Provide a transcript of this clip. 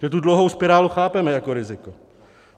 My tu dluhovou spirálu chápeme jako riziko.